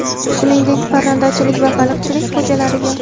Shuningdek, parrandachilik va baliqchilik xo‘jaliklariga:.